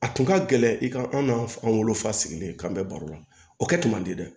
A tun ka gɛlɛn i ka an n'a wolo fa sigilen kan bɛ baro la o kɛ kun man di dɛ